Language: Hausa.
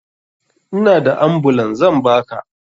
Inada ambulan zan baka